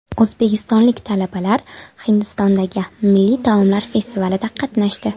O‘zbekistonlik talabalar Hindistondagi milliy taomlar festivalida qatnashdi.